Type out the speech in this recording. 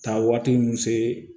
Taa waati min se